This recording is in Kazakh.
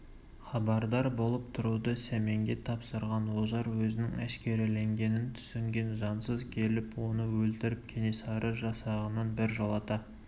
хабардар болып тұруды сәменге тапсырған ожар өзінің әшкереленгенін түсінген жансыз келіп оны өлтіріп кенесары жасағынан біржолата